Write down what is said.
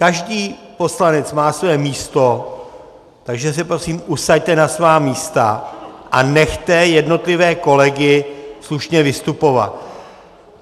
Každý poslanec má své místo, takže se prosím usaďte na svá místa a nechte jednotlivé kolegy slušně vystupovat.